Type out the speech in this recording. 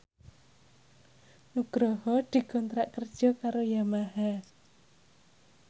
Nugroho dikontrak kerja karo Yamaha